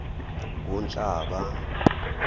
kunhlaba